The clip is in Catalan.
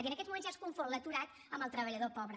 i en aquests moments ja es confon l’aturat amb el treballador pobre